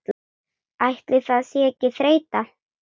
Ætli það sé ekki þreyta